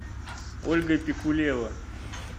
ольга пикулева